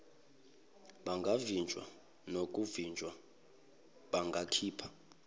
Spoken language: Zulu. bangavinjwa nokuvinjwa bangakhiphi